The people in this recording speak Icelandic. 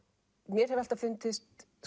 mér hefur alltaf fundist